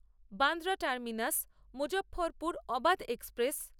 Bandra terminus Muzaffarpur Avadh express